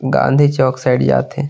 Gandhi Chowk side जा थे।